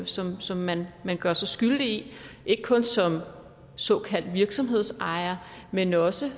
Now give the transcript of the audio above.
som som man man gør sig skyldig i ikke kun som såkaldt virksomhedsejer men også